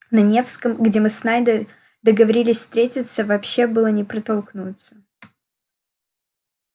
на невском где мы с найдом договорились встретиться вообще было не протолкнуться